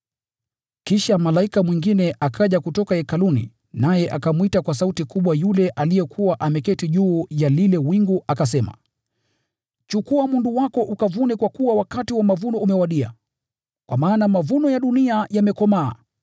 Kisha malaika mwingine akaja kutoka hekaluni naye akamwita kwa sauti kubwa yule aliyekuwa ameketi juu ya lile wingu akasema, “Chukua mundu wako ukavune kwa kuwa wakati wa mavuno umewadia, kwa maana mavuno ya dunia yamekomaa.”